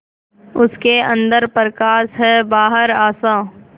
उसके अंदर प्रकाश है बाहर आशा